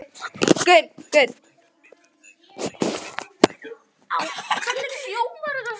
Blómey, hver er dagsetningin í dag?